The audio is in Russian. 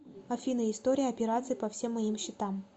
афина история операций по всем моим счетам